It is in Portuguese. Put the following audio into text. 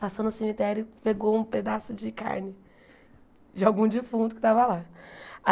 Passou no cemitério, pegou um pedaço de carne de algum defunto que estava lá.